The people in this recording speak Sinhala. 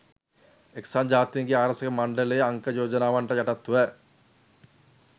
එක්සත් ජාතීන්ගේ ආරක්ෂක මණ්ඩලයේ අංක යෝජනාවන්ට යටත්ව